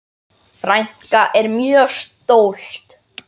Frænka er mjög stolt.